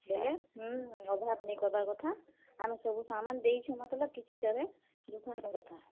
ବେଲେ ହୁଁ, ଅଭାବ ନିଁ କରବାର୍ କଥା। ଆମେ ସବୁ ସାମାନ୍ ଦେଇଛୁଁ ମତଲବ୍ କିଛୁ କେଭେ ଦୁଖ ନିଁ ଦେବାର୍ କଥା।